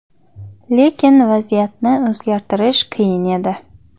Lekin vaziyatni o‘zgartirish qiyin edi.